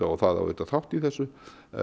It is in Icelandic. og það á auðvitað þátt í þessu